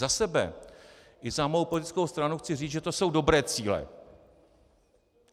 Za sebe i za svou politickou stranu chci říct, že to jsou dobré cíle.